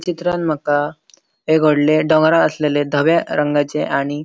चित्रांत माका एक वोडले डोंगरार आसलेले दोव्या रंगाचे आणि --